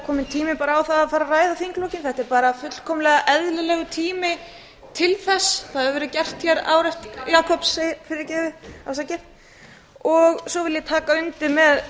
kominn tími á það að fara að ræða þinglokin þetta er bara fullkomlega eðlilegur tími til þess það hefur verið gert hér ár eftir ár svo vil ég taka undir með